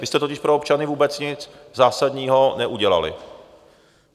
Vy jste totiž pro občany vůbec nic zásadního neudělali.